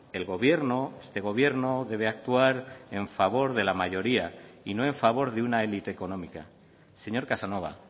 el gobierno este gobierno debe actuar en favor de la mayoría y no a favor de una élite económica señor casanova